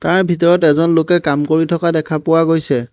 ইয়াৰ ভিতৰত এজন লোকে কাম কৰি থকা দেখা পোৱা গৈছে।